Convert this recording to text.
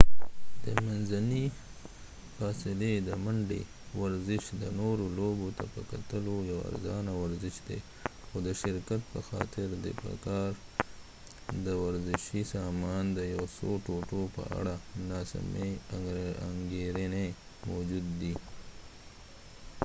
د منځنی فاصلی د منډی ورزش د نورو لوبو ته په کتلو یو ارزانه ورزش دي خو د شرکت په خاطر د په کار د ورزشي سامان د یو څو ټوټو په اړه نا سمی انګیرنی موجودي دي